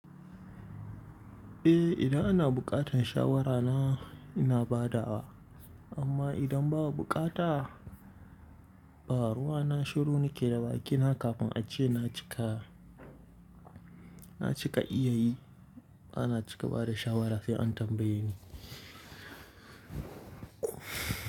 Eh, idan ana buƙatar shawara na, ina badawa amma idan ba a buƙata ba ruwana shiru nake da bakina kafin a ce na cika, na cika iyayi, bana cika bada shawara sai an tambaye ni.